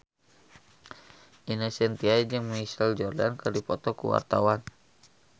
Ine Shintya jeung Michael Jordan keur dipoto ku wartawan